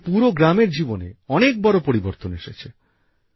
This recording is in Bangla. এতে পুরো গ্রামের জীবনে অনেক বড় পরিবর্তন এসেছে